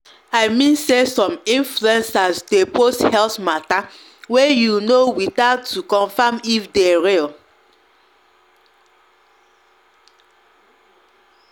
i mean say some influencers dey post health matter way you know without to confirm if dey real.